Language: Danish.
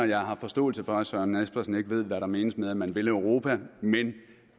jeg har forståelse for at herre søren espersen ikke ved hvad der menes med at man vil europa men